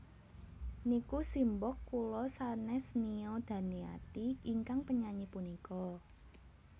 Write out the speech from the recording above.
Niku simbok kula senes Nia Daniati ingkang penyanyi punika